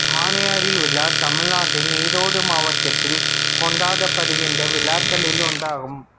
சாணியடி விழா தமிழ்நாட்டின் ஈரோடு மாவட்டத்தில் கொண்டாடப்படுகின்ற விழாக்களில் ஒன்றாகும்